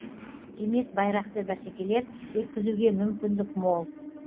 демек байрақты бәсекелер өткізуге мүмкіндік мол